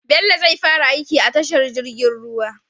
Bello zai fara aiki a tashar jirgin ruwa